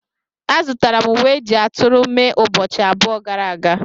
Azụtara m uwe eji ajị aturu mee ụbọchị abụọ gara aga.